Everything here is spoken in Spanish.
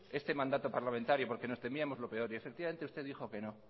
este mandato parlamentario porque nos temíamos lo peor y efectivamente usted dijo que no